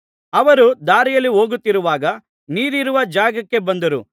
ಅವರು ದಾರಿಯಲ್ಲಿ ಹೋಗುತ್ತಿರುವಾಗ ನೀರಿರುವ ಜಾಗಕ್ಕೆ ಬಂದರು